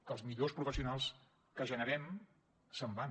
que els millors professionals que generem se’n van